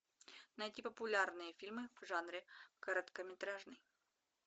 найти популярные фильмы в жанре короткометражный